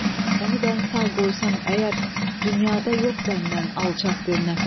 onu mən sağ qoysam əgər, dünyada yox məndən alçaq bir nəfər.